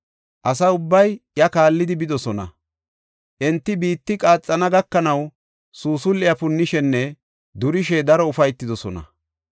Asa ubbay iya kaallidi bidosona; enti biitti qaaxana gakanaw suusul7e punnishenne durishe daro ufaytidosona.